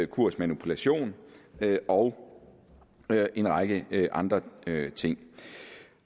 kursmanipulation og en række andre ting